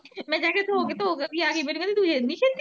ਮੈਂ ਕਿਹਾ ਧੋ ਧੋ ਕੇ ਵੀ ਆਗੀ ਤੂੰ ਇੰਨੀ ਛੇਤੀ।